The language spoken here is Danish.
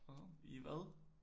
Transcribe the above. Wow i hvad?